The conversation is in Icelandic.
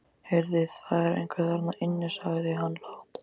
Heyrðu, það er einhver þarna inni sagði hann lágt.